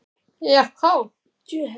Já há!